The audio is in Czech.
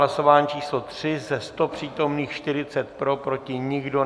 Hlasování číslo 3, ze 100 přítomných 40 pro, proti nikdo.